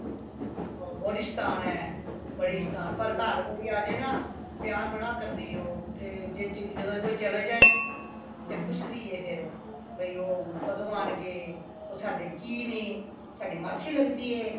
ਬੜੀ ਸ਼ੈਤਾਨ ਏ ਬੜੀ ਸ਼ੈਤਾਨ ਪਰ ਘਰ ਕੋਈ ਆਜੇਨਾ ਪਿਆਰ ਬੜਾ ਕਰਦੀਏ ਉਹ ਤੇ ਜੇ ਜਦੋ ਕੋਈ ਚਲੇ ਜਾਇ ਫੇਰ ਪੁੱਛਦੀ ਏ ਫੇਰ ਬਇ ਉਹ ਕਦੋ ਆਣਗੇ ਉਹ ਸਾਡੇ ਕੀਨੇ ਸਾਡੀ ਮਾਸੀ ਲਗਦੀ ਏ